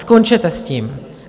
Skončete s tím!